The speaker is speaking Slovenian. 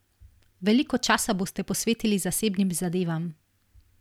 Veliko časa boste posvetili zasebnim zadevam.